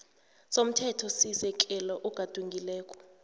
somthethosisekelo ogadungileko